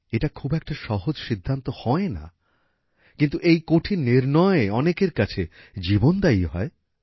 এটা খুব একটা সহজ সিদ্ধান্ত হয় না কিন্তু এই কঠিন নির্নয় অনেকের কাছে জীবনদায়ী হয়